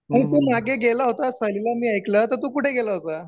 तू मागे गेला होतास सहलीला असं मी ऐकलं तर तू कुठे गेला होता